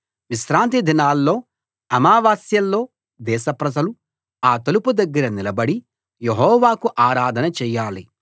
విశ్రాంతిదినాల్లో అమావాస్యల్లో దేశప్రజలు ఆ తలుపు దగ్గర నిలబడి యెహోవాకు ఆరాధన చేయాలి